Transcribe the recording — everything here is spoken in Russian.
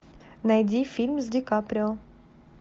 найди фильм с ди каприо